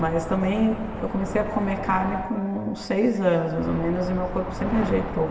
Mas também, eu comecei a comer carne com seis anos, mais ou menos, e meu corpo sempre rejeitou.